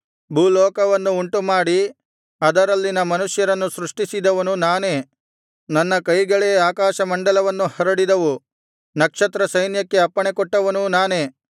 ಭೂಲೋಕವನ್ನು ಉಂಟುಮಾಡಿ ಅದರಲ್ಲಿನ ಮನುಷ್ಯರನ್ನು ಸೃಷ್ಟಿಸಿದವನು ನಾನೇ ನನ್ನ ಕೈಗಳೇ ಆಕಾಶಮಂಡಲವನ್ನು ಹರಡಿದವು ನಕ್ಷತ್ರಸೈನ್ಯಕ್ಕೆ ಅಪ್ಪಣೆಕೊಟ್ಟವನೂ ನಾನೇ